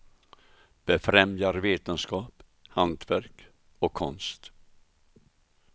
Befrämjar vetenskap, hantverk och konst.